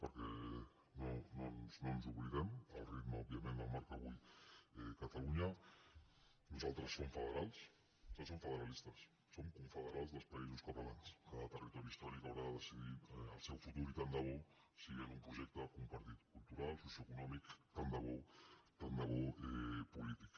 perquè no ens n’oblidem el ritme òbviament el marca avui catalunya nosaltres som federals som federalistes som confederals dels països catalans cada territori històric haurà de decidir el seu futur i tant de bo sigui en un projecte compartit cultural socioeconòmic tant de bo tant de bo polític